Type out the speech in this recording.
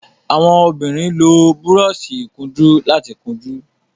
àwọn obìrin ló Búrọ́ọ̀ṣì ìkunjú láti kunjú.